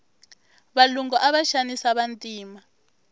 valungu ava xanisa vantima